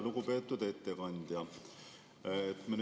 Lugupeetud ettekandja!